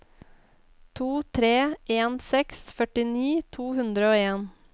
to tre en seks førtini to hundre og en